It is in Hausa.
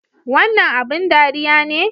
Wannan abin ɗariya ne?